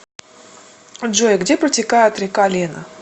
джой где протекает река лена